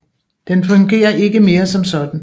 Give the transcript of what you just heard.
Den fungerer ikke mere som sådan